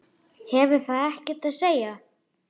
Hefur það ekkert að segja?